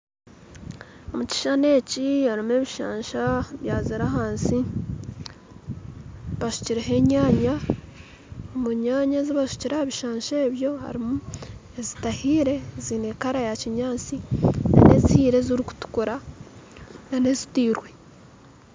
Omukishushani eki harumu ebishansha byazire ahansi bashukireho enyaanya omu nyaanya ezibashukire ahabishansha ebyo harumu ezitahiire ezine color ya kinyaatsi harumu nezihiire ezirukutukura n'ezitiirwe.